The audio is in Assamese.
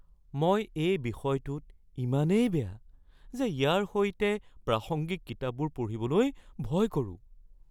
মই এই বিষয়টোত ইমানেই বেয়া যে ইয়াৰ সৈতে প্ৰাসংগিক কিতাপবোৰ পঢ়িবলৈ ভয় কৰোঁ।